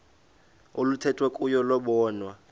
oluthethwa kuyo lobonwa